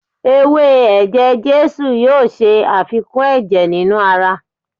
ewe eje-jesu a yóò ṣe afikún eje ninu ara.